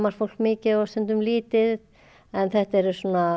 fólk mikið stundum lítið en þetta eru